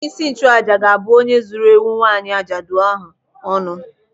Onyeisi nchụàjà ga-abụ onye zuru ewu nwaanyị ajadu ahụ ọnụ.